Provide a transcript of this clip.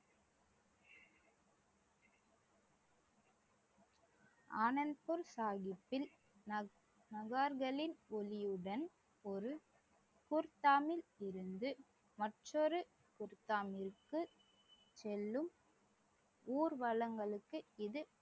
ஆனந்த்பூர் சாஹிப்பில் நக~ நகார்களின் ஒளியுடன் ஒரு பொற்தாமில் இருந்து மற்றொரு பொற்தாமிற்கு செல்லும் ஊர்வலங்களுக்கு இது